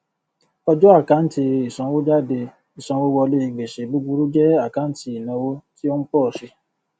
ọjọ àkáǹtì ìsanwójádé ìsanwówọlé gbèsè búburú jẹ àkáǹtì ìnáwó tí ó ń pọ sí